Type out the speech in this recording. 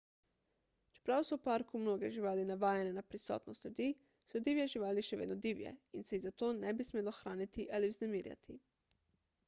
čeprav so v parku mnoge živali navajene na prisotnost ljudi so divje živali še vedno divje in se jih zato ne bi smelo hraniti ali vznemirjati